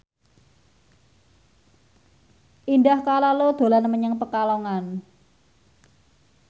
Indah Kalalo dolan menyang Pekalongan